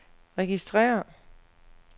registrér